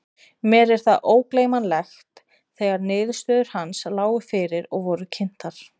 Mér er það ógleymanlegt þegar niðurstöður hans lágu fyrir og voru kynntar.